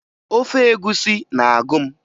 Ofe egwusi na-agụ m